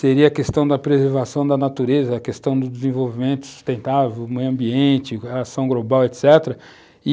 seria a questão da preservação da natureza, a questão do desenvolvimento sustentável, meio ambiente, relação global, etc.